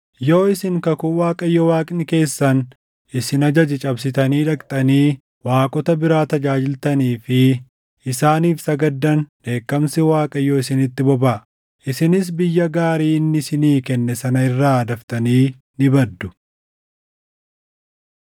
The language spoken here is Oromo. Yoo isin kakuu Waaqayyo Waaqni keessan isin ajaje cabsitanii dhaqxanii waaqota biraa tajaajiltanii fi isaaniif sagaddan dheekkamsi Waaqayyoo isinitti bobaʼa; isinis biyya gaarii inni isinii kenne sana irraa daftanii ni baddu.”